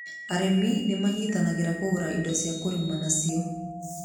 Arĩmi nĩ manyitanagĩra kũgũra indo cia kũrima nacio.